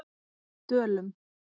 Dölum